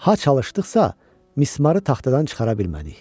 Ha çalışdıqsa, mismarı taxtadan çıxara bilmədik.